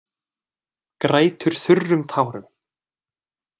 Grætur þurrum tárum.